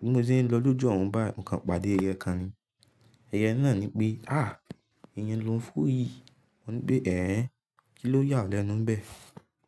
Bí mo ṣe ń lọ lójú ọ̀run báyìí, mo kàn pàdé ẹyẹ kan ni. Ẹyẹ náà ní pé "à, eyan lo ń fò yí." Mo ní pé "ẹ̀, kí ló yà ọ́ lẹ́nu bẹ́ẹ̀?"